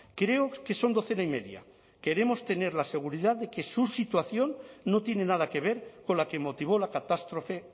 creo que son docena y media queremos tener la seguridad de que su situación no tiene nada que ver con la que motivó la catástrofe